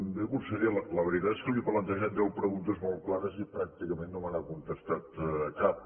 bé conseller la veritat és que li he plantejat deu preguntes molt clares i pràcticament no me n’ha contestat cap